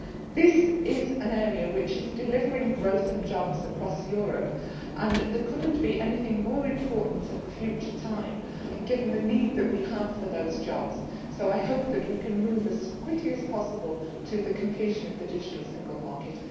This is an area which is delivering growth and jobs across Europe and there could not be anything more important at the present time, given the need that we have for those jobs, so I hope that we can move as quickly as possible to the completion of the digital single market.